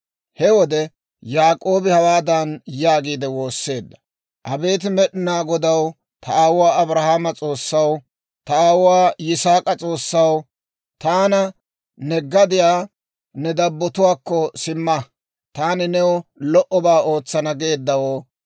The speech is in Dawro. He wode Yaak'oobi hawaadan yaagiide woosseedda; «Abeet Med'inaa Godaw, ta aawuwaa Abrahaame S'oossaw, ta aawuwaa Yisaak'a S'oossaw, taana, ‹Ne gadiyaa, ne dabbotuwaakko simma; taani new lo"obaa ootsana› geeddawoo,